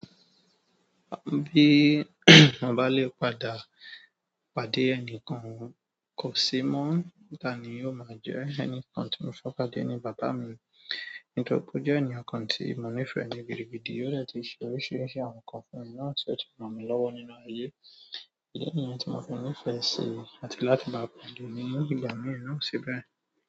Bí mo bá lè padà, pàdé ẹni kan kò sí mọ, ta ni o má jẹ? Ẹni kan tí mo fẹ padé ni bàbá mi, nítorí pé ó jẹ ẹniyan kan tí mo nifẹ ni gidi gidi, ó dẹ ti ṣe oríṣiríṣi àwọn nǹkan fún mi náà tí o ti ràn mi lọ́wọ́ nínú ayé. Ìdí niyẹn tí mo fi nifẹ sí, àti láti bá pàdé ní ìgbà mií náà sí bẹ́ẹ̀.